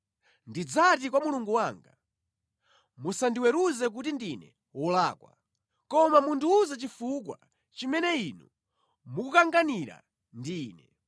Ndidzati kwa Mulungu wanga: Musandiweruze kuti ndine wolakwa, koma mundiwuze chifukwa chimene Inu mukukanganira ndi ine.